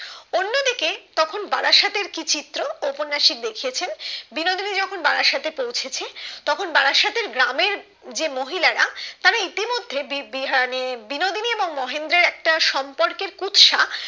তখন বালার সাথের কি চিত্র ও উপন্যাসক দেখিছেন বিনোদীনি যখনবারাসাতে পোঁচেছে তখন মায়ের সাথে যে গ্রামের যে মহিলারা তারা ইতিমধেই বি বিহানির বিনোদিনী এবং মহেন্দ্রের একটা সম্পর্কের একটা কুৎসা